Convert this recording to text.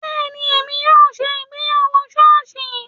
Bẹ́ẹ̀ni, èmi yóò ṣe ìgbéyàwó sọ́ọ̀sì